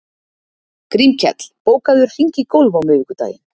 Grímkell, bókaðu hring í golf á miðvikudaginn.